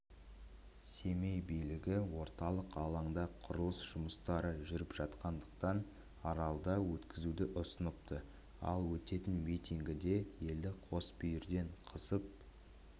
семей билігі орталық алаңда құрылыс жұмыстары жүріп жатқандықтан аралда өткізуді ұсыныпты ал өтетін митингіде елді қосбүйірден қысып